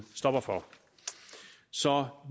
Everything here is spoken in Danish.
stopper for så